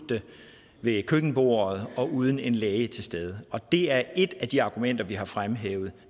ved køkkenbordet og uden en læge til stede og det er et af de argumenter vi har fremhævet